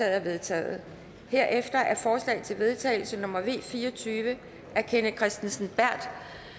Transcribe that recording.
er vedtaget herefter er forslag til vedtagelse nummer v fire og tyve af kenneth kristensen berth